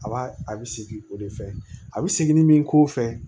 A b'a a bɛ segin o de fɛ a bɛ segin ni min k'o fɛ